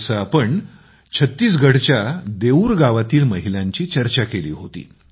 जेव्हा आम्ही छत्तीसगढच्या देऊर गावातील महिलांची चर्चा केली होती